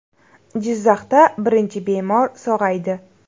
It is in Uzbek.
Jizzaxda birinchi bemor sog‘aydi.